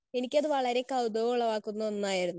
Speaker 1 എനിക്കത് വളരെ കൗതുകം ഉളവാക്കുന്ന ഒന്നായിരുന്നു.